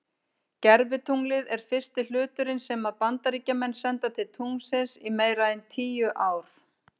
Gervitunglið er fyrsti hluturinn sem að Bandaríkjamenn senda til tunglsins í meira en tíu ár.